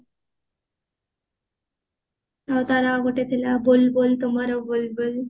ହଁ ତାର ଗୋଟେ ଥିଲା ବୁଲ୍ବୁଲ ତୁ ମୋର ବୁଲ୍ବୁଲ